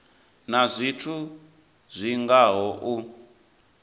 na zwithu zwi ngaho u